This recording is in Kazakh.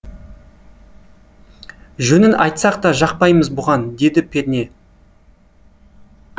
жөнін айтсақ та жақпаймыз бұған деді перне